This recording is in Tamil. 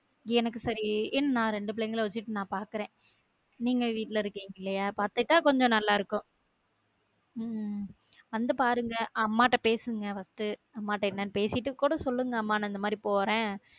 எனக்கு சரி என் நா ரெண்டு பிள்ளைங்க வச்சுட்டு நா பார்க்கிறேன் நீங்க வீட்ல இருக்கீங்க இல்லையா பாத்துக்கிட்டா கொஞ்சம் நல்லா இருக்கும் உம் வந்து பாருங்க அம்மா கிட்ட பேசுங்க first அம்மா கிட்ட என்னனு பேசிட்டு கூட சொல்லுங்க அம்மா நா இந்த மாதிரி போறேன்